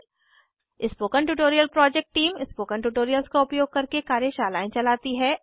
spoken tutorial project team spoken tutorials का उपयोग करके कार्यशालाएं चलाती है